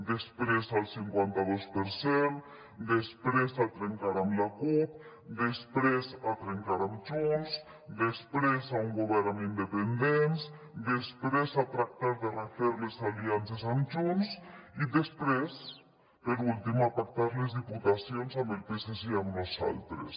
després al cinquanta dos per cent després a trencar amb la cup després a trencar amb junts després a un govern amb independents després a tractar de refer les aliances amb junts i després per últim a pactar les diputacions amb el psc i amb nosaltres